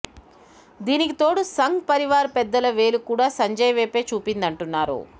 దీనికి తోడు సంఘ్ పరివార్ పెద్దల వేలు కూడా సంజయ్ వైపే చూపిందంటున్నారు